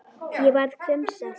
Ég varð hvumsa.